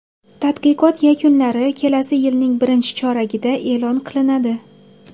Tadqiqot yakunlari kelasi yilning birinchi choragida e’lon qilinadi.